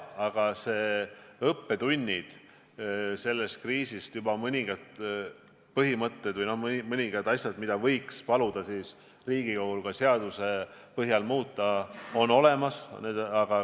Aga selle kriisi õppetunnid, juba mõningad põhimõtted või asjad, mida võiks paluda Riigikogul seaduses muuta, on olemas.